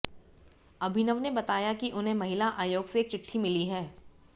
अभिनव ने बताया कि उन्हें महिला आयोग से एक चिट्ठी मिली है